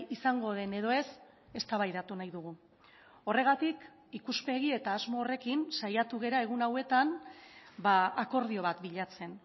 izango den edo ez eztabaidatu nahi dugu horregatik ikuspegi eta asmo horrekin saiatu gara egun hauetan akordio bat bilatzen